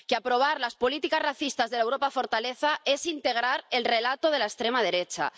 Que aprobar las políticas racistas de la Europa fortaleza es integrar el relato de la extrema derecha.